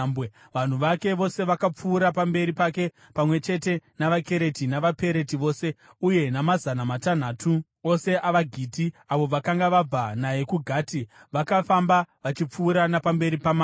Vanhu vake vose vakapfuura pamberi pake, pamwe chete navaKereti navaPereti vose, uye namazana matanhatu ose avaGiti avo vakanga vabva naye kuGati, vakafamba vachipfuura napamberi pamambo.